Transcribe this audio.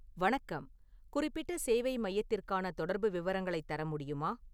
வணக்கம் குறிப்பிட்ட சேவை மையத்திற்கான தொடர்பு விவரங்களைத் தர முடியுமா